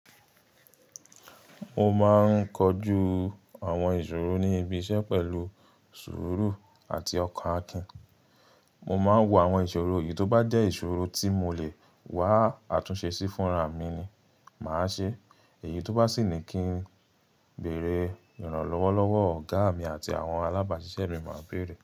Mo máa ń kojú àwọn ìṣòro ní ibi iṣẹ́ pẹ̀lú sùúrù àti ọkọ̀ Akin. Mo máa ń wo àwọn ìṣòro, yi tó bá jẹ́ ìṣòro tí mo lè wá àtúnṣe sí fúnra mi ni màá ṣe, èyí tó bá sì ní kí n bèèrè ìrànlọ́wọ́ lọ́wọ́ ọ̀gá mi àti àwọn alábàáṣiṣẹ́ mi, màá bèèrè.